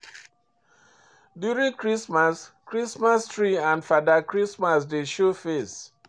During christmas, Christmas tree and fada Christmas dey show face